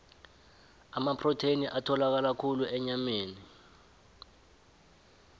amaprotheni atholakala khulu enyameni